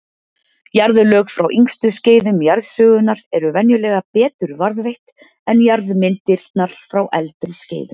Jarðlög frá yngstu skeiðum jarðsögunnar eru venjulega betur varðveitt en jarðmyndanir frá eldri skeiðum.